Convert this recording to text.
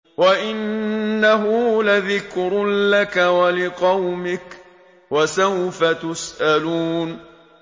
وَإِنَّهُ لَذِكْرٌ لَّكَ وَلِقَوْمِكَ ۖ وَسَوْفَ تُسْأَلُونَ